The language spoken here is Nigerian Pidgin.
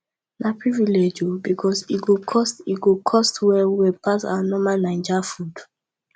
na privilege o because e cost e cost well well pass our normal naija food